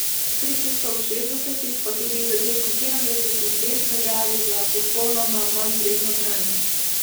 Stripi so v šestdesetih, pa tudi v začetku sedemdesetih letih veljali za popolnoma manjvredno branje.